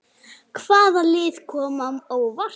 Hvaða lið koma á óvart?